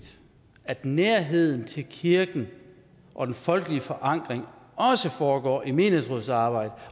at nærheden til kirken og den folkelige forankring også foregår i menighedsrådsarbejdet